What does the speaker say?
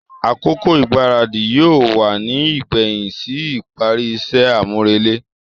Akoko igbaradi yóò wá ní igbẹhin sí ìparí iṣẹ amurele.